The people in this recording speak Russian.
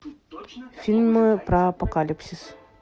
фильмы про апокалипсис